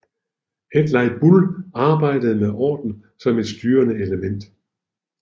Hedley Bull arbejdede med orden som et styrende element